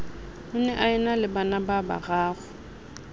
o ne a enale banababararo